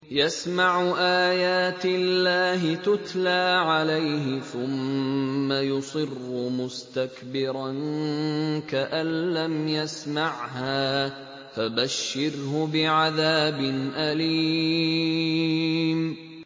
يَسْمَعُ آيَاتِ اللَّهِ تُتْلَىٰ عَلَيْهِ ثُمَّ يُصِرُّ مُسْتَكْبِرًا كَأَن لَّمْ يَسْمَعْهَا ۖ فَبَشِّرْهُ بِعَذَابٍ أَلِيمٍ